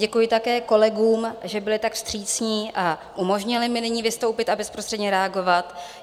Děkuji také kolegům, že byli tak vstřícní a umožnili mi nyní vystoupit a bezprostředně reagovat.